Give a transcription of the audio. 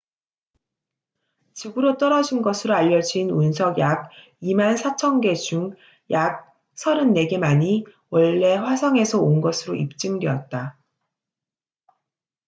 지구로 떨어진 것으로 알려진 운석 약 24,000개 중 약 34개만이 원래 화성에서 온 것으로 입증되었다